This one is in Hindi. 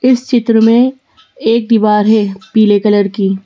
इस चित्र में एक दीवार है पीले कलर की--